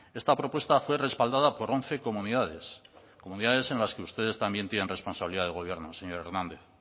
esta propuesta fue respaldada por once comunidades comunidades en las que ustedes también tienen responsabilidad de gobierno señor hernández